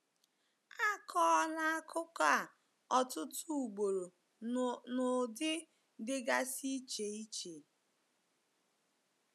A kọọla akụkọ a ọtụtụ ugboro n’ụdị dịgasị iche iche.